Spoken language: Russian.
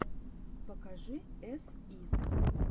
покажи эс ис